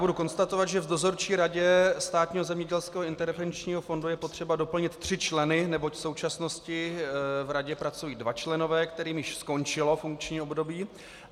Budu konstatovat, že v Dozorčí radě Státního zemědělského intervenčního fondu je potřeba doplnit tři členy, neboť v současnosti v radě pracují dva členové, kterým již skončilo funkční období.